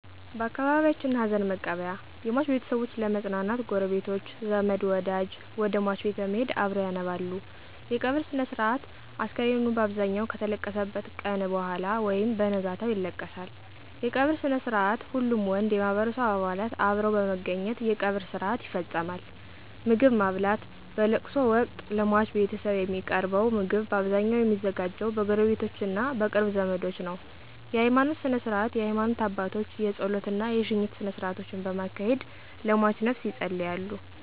በአካባቢየችን ሀዘንመቀበያ የሟች ቤተሰቦች ለመጽናናት ጉረቤቶች፣ ዘመድወደጅ ወደሟች ቤት በመሄድ አብረዉ ያነባሉ _የቀብር ስነስርአት፣ አስከሬኑ ባብዛኘዉ ከተለቀሰበት ቀነ በኋላ ወይም በነጋታው ይለቀሳል ይለቀሳል_የቀበርስነስርአትሁሉም ወንድ የማህበረሰቡ አባላት አብረዉ በመገኘት የቀብር ስርአት ይፈጸማል _ምግብማብላት በለቅሶወቅት ለሟች ቤተሰብ የሚቀርበዉ ምግብ ባብዛኘዉ የሚዘጋጀዉ በጉረቤቶቾ እና በቅርብ ዘመዶች ነዉ ነዉ_የሀይማኖት ስነስርዓት የሀይማኖት አባቶች የጾለት እና የሽኝት ስነስርአቶችን በማካሄድ ለሟችነፍስ የጸልያሉ።